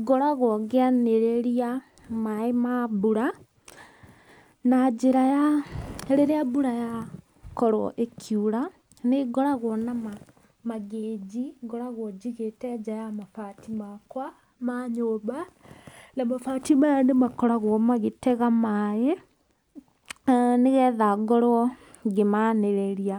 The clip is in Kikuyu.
Ngoragwo ngĩanĩrĩria maaĩ ma mbura, na njĩra ya rĩrĩa mbura yakorwo ĩkiura, nĩ ngoragwo na mangĩnji ngoragwo njigĩte nja ya mabati makwa ma nyũmba, na mabati maya nĩ makoragwo magĩtega maaĩ nĩ getha ngorwo ngĩmanĩrĩria.